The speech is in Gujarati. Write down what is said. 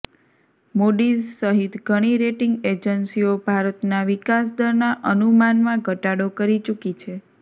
મૂડીઝ સહિત ઘણી રેટીંગ એજન્સીઓ ભારતના વિકાસ દરના અનુમાનમાં ઘટાડો કરી ચૂકી છે